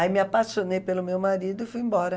Aí me apaixonei pelo meu marido e fui embora.